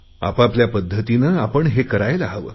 आपआपल्या पध्दतीने आपण हे करायला हवे